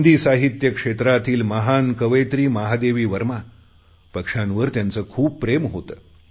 हिंदी साहित्य क्षेत्रातील महान कवियत्री महादेवी वर्मा पक्ष्यांवर त्यांचे खूप प्रेम होते